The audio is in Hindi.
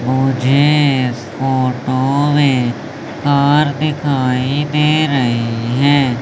मुझे फोटो में कार दिखाई दे रही हैं।